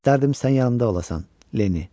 Dərdim sən yanımda olasan, Lenni.